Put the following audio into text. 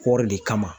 Kɔri de kama